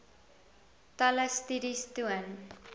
talle studies toon